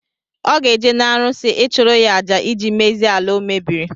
Ọ ga-eje na arụsị, ịchụrụ ya àjà ịjị mezie ala o mebiri